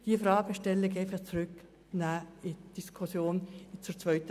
Ich bitte Sie aber, diese Fragestellung für die zweite Lesung in die Kommission zurückzugeben.